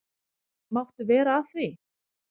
Máttu vera að því?